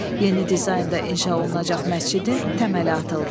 Yeni dizaynda inşa olunacaq məscidin təməli atıldı.